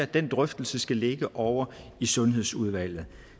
den drøftelse skal ligge ovre i sundhedsudvalget